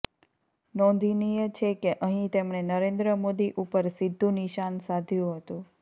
નોંધનીય છે કે અહીં તેમણે નરેન્દ્ર મોદી ઉપર સીધું નિશાન સાધ્યું હતું